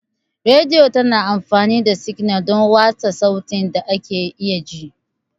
Rediyo tana amfani da signal don watsa sautin da ake iya ji.